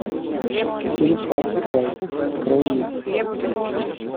фильм фар край открой мне